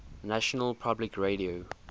national public radio